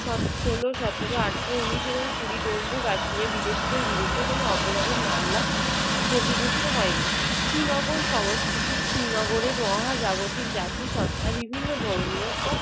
ষোল সতেরো আঠারো উনিশ এবং কুড়ি জম্মু ও কাশ্মীরে বিদেশিদের বিরুদ্ধে কোনো অপরাধের মামলা নথিভুক্ত হয়নি। শ্রীনগর সংস্কৃতি, শ্রীনগরের মহাজাগতিক জাতিসত্ত্বা বিভিন্ন ধর্মীয় ও